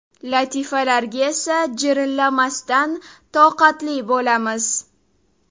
Latifalarga esa jirillamasdan toqatli bo‘lamiz.